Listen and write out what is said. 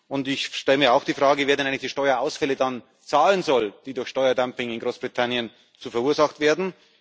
Und ich stelle mir auch die Frage, wer denn eigentlich die Steuerausfälle dann zahlen soll, die durch Steuerdumping in Großbritannien verursacht werden.